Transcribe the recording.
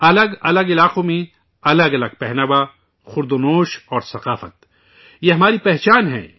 الگ الگ علاقوں میں الگ الگ لباس، کھانا پینا اور ثقافت ، یہ ہماری پہچان ہے